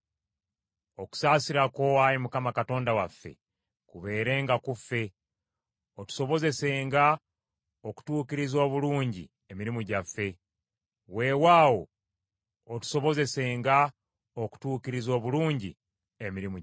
Okusaasira kwo, Ayi Mukama Katonda waffe, kubeerenga ku ffe, otusobozesenga okutuukiriza obulungi emirimu gyaffe; weewaawo, otusobozesenga okutuukiriza obulungi emirimu gyaffe.